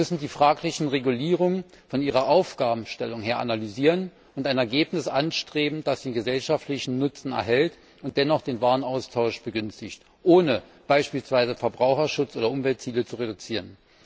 Wir müssen die fraglichen Regulierungen von ihrer Aufgabenstellung her analysieren und ein Ergebnis anstreben, das den gesellschaftlichen Nutzen erhält und dennoch den Warenaustausch begünstigt, ohne beispielsweise Verbraucherschutz oder Umweltziele zu reduzieren.